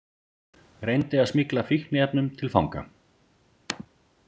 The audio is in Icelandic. Reyndi að smygla fíkniefnum til fanga